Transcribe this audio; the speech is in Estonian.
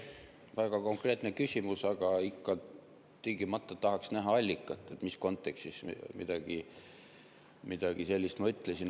Väga konkreetne küsimus, aga ikka tingimata tahaks näha allikat, mis kontekstis ma midagi sellist ütlesin.